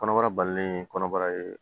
Kɔnɔbara balilen kɔnɔbara ye